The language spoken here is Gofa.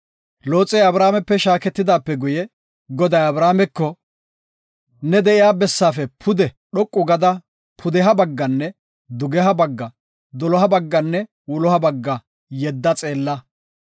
Looxey Abramepe shaaketidaape guye, Goday Abrameko, “Ne de7iya bessaafe pude dhoqu gada pudeha bagganne dugeha bagga, doloha bagganne wuloha bagga yedda xeella.